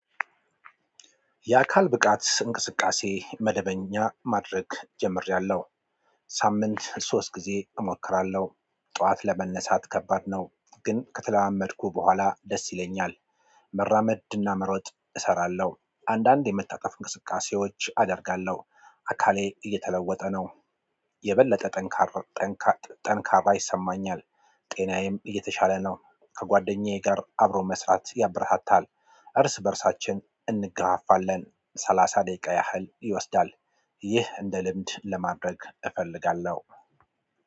የአካል ብቃት እንቅስቃሴ መደበኛ ማድረግ ጀምሬያለሁ ሳምንት ሶስት ጊዜ እሞክራለሁ። ጠዋት ለመነሳት ከባድ ነው ግን ከተለማመድኩ በኋላ ደስ ይለኛል። መራመድና መሮጥ እሰራለሁ። አንዳንድ የመታጠፍ እንቅስቃሴዎች አደርጋለሁ። አካሌ እየተለወጠ ነው። የበለጠ ጠንካራ ጠንካራ ይሰማኛል። ጤናዬም እየተሻለ ነው ከጓደኛዬ ጋር አብሮ መስራት ያበረታታል። እርስ በእርሳችን እንገፋፋለን። ሰላሳ ደቂቃ ያህል ይወስዳል። ይህ እንደ ልምድ ለማድረግ እፈልጋለሁ።